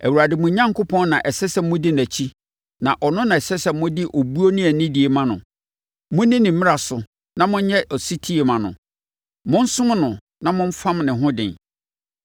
Awurade, mo Onyankopɔn, na ɛsɛ sɛ modi nʼakyi na ɔno na ɛsɛ sɛ mode obuo ne anidie ma no. Monni ne mmara so na monyɛ ɔsetie mma no; monsom no na momfam ne ho den.